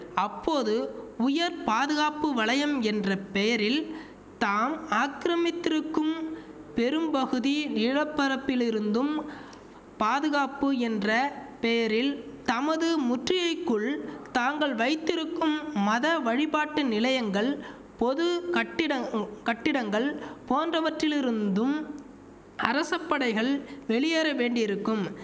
அப்போது உயர் பாதுகாப்பு வலயம் என்ற பெயரில் தாம் ஆக்கிரமித்திருக்கும் பெரும்பகுதி நிலப்பரப்பிலிருந்தும் பாதுகாப்பு என்ற பெயரில் தமது முற்றியைக்குள் தாங்கள் வைத்திருக்கும் மத வழிபாட்டு நிலையங்கள் பொது கட்டிட கட்டிடங்கள் போன்றவற்றிலிருந்தும் அரசபடைகள் வெளியேற வேண்டியிருக்கும்